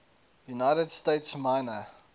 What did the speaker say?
united states minor